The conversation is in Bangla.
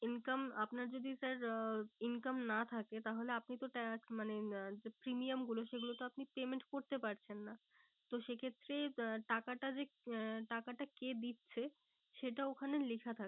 Income আপনার যদি sir আহ income না থাকে তাহলে আপনি তো মানে উম যে premium গুলো সেগুলো তো আপনি payment করতে পারছেন না। তো সে ক্ষেত্রে আহ টাকাটা যে আহ টাকাটা কে দিচ্ছে সেটা ওখানে লেখা